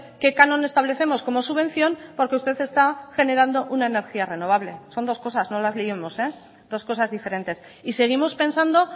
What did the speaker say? que canon establecemos como subvención porque usted está generando una energía renovable son dos cosas no las liemos dos cosas diferentes y seguimos pensando